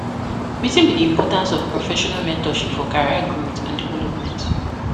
Wetin be di importance of professional mentorship for career growth and development?